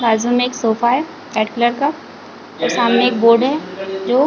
बाजु में एक सोफा है रेड कलर का और सामने एक बोर्ड है जो--